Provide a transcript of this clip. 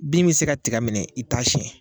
Bin bi se ka tiga minɛ i t'a siɲɛ.